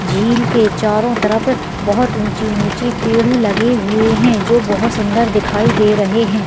झील के चारों तरफ बहुत ऊँची-ऊँची पेड़ लगे हुए हैं जो बहुत सुन्दर दिखाई दे रहें हैं।